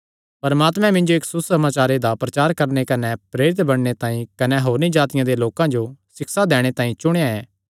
परमात्मे मिन्जो इस सुसमाचारे दा प्रचार करणे कने प्रेरित बणने तांई कने होरनी जातिआं दे लोकां जो सिक्षा दैणे तांई चुणेया ऐ